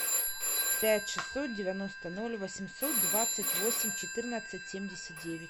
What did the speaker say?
пять шестьсот девяносто ноль восемьсот двадцать восемь четырнадцать семьдесят девять